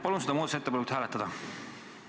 Palun seda muudatusettepanekut hääletada!